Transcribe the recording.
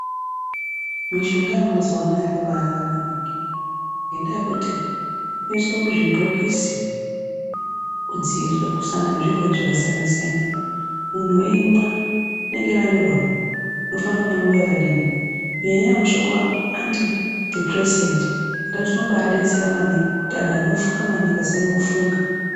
Mishonga yemazuwanaya yakabakana maningi ngenda yekuti inoiswe muzvibhokisi kudzivirira kusangana nezvirwere zvakasiyana siyana. Munhu eyimwa inenge yakanyorwa kuti unofane kumwa nguwa yakadini. Nyaya yemushonga andidhipuresenti unombadetsera maningi kuti antu anofunga maningi asanyanya kufunga.